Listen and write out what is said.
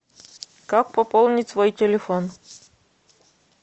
как пополнить свой телефон